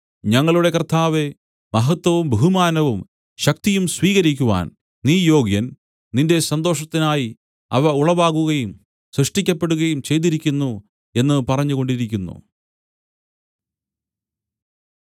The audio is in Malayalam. ഞങ്ങളുടെ കർത്താവേ മഹത്വവും ബഹുമാനവും ശക്തിയും സ്വീകരിക്കുവാൻ നീ യോഗ്യൻ നിന്റെ സന്തോഷത്തിനായി അവ ഉളവാകുകയും സൃഷ്ടിക്കപ്പെടുകയും ചെയ്തിരിക്കുന്നു എന്നു പറഞ്ഞുകൊണ്ടിരിക്കുന്നു